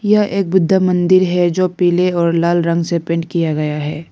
यह एक बुध्दा मंदिर है जो पीले और लाल रंग से पेंट किया गया है।